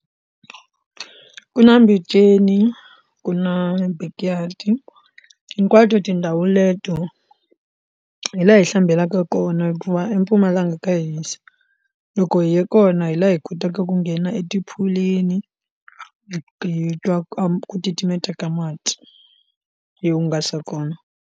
Ku na mpenceni ku na big yard hinkwato tindhawu leto hi laha hi hlambelaka kona hikuva empumalanga nga ka hisa loko hi ya kona hi laha hi kotaka ku nghena e tiphulwini hi twa ku titimeta ka mati hi hungasa kona.